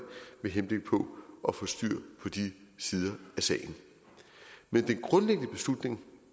henblik på at få styr på de sider af sagen men den grundlæggende beslutning